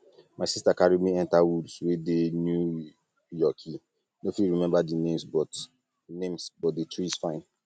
my sister carry me enter woods wey dey new yorki no fit remember the names but names but the trees fine